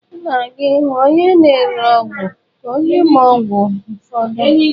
M ga-aga ịhụ onye na-ere ọgwụ ka ọ nye m ọgwụ ụfọdụ.